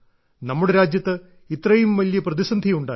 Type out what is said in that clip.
നമ്മുടെ രാജ്യത്ത് ഇത്രയും വലിയ പ്രതിസന്ധിയുണ്ടായി